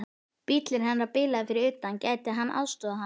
Bíllinn hennar bilaði fyrir utan, gæti hann aðstoðað hana?